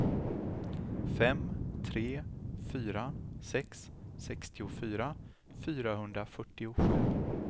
fem tre fyra sex sextiofyra fyrahundrafyrtiosju